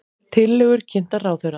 Tillögur kynntar ráðherra